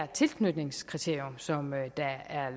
tilknytningskriterium som er